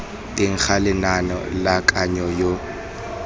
teng ga lenane la kananyo